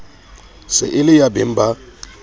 se e le yabeng ba